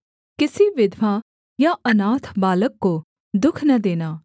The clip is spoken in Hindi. किसी विधवा या अनाथ बालक को दुःख न देना